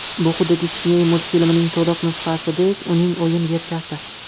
Bu xuddi Disney multfilmining to‘liq nusxasidek uning o‘yin versiyasi.